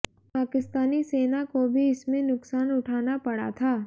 पाकिस्तानी सेना को भी इसमें नुकसान उठाना पड़ा था